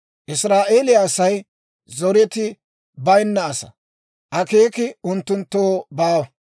Israa'eeliyaa Asay zoreti bayinna asaa; akeeki unttunttoo baawa.